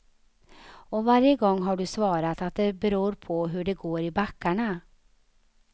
Och varje gång har du svarat att det beror på hur det går i backarna.